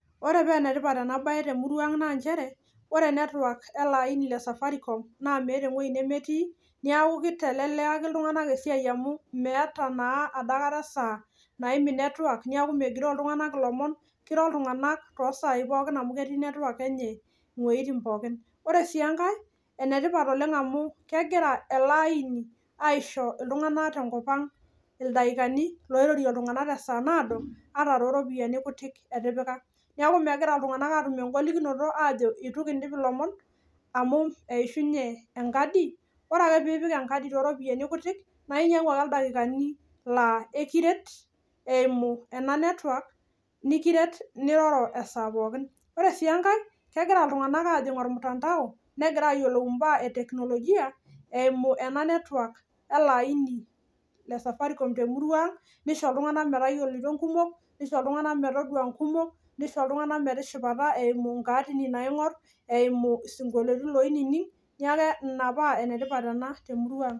Oree paa ene tipata ena bayee tee muruaa ang' naa nchere ore network ile aini le safaricom naa meeta ewei nemetii neeku keitalelekaki iltung'anak esiai amuu meeta naa dajata esaa naimin network neeku megiroo iltung'anak ilomon keiroo iltung'anak too sayii pookiin amu ketii network enyee iweitin pookin oree siii enkae enetipat oleng' amuu kegira ele aini ashu iltung'anak tenkop ang' ildaikani oirorie iltung'anak tesaa naado ata tooropiyiani kutik etipika neeku megira iltung'anak atuum engolikinoto ajoo eitu kiindip ilomon amu eishunye enkadi ore ake pee ipik enkadi tooropiyani kutik naa inyang'u ake ildaikani laa ekiret eimu ena network nikiret niroroo esaa pookin oree sii enkae kegira iltung'anak aajing' olmutandao negira ayioliu imbaa ee teknologia eimu ena network ele aini le safaricom te muru ang' neisho iltung'anak metayioloito inkumok neisho iltung'anak metaadua inkumok nishoo iltung'anak metishipata eimu inkaatini naaing'orr eimu isingolioitin loinining' nekuu inaa paa ene tipat ena the murwa ang'